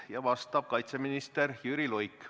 Sellele vastab kaitseminister Jüri Luik.